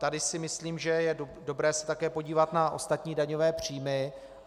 Tady si myslím, že je dobré se také podívat na ostatní daňové příjmy.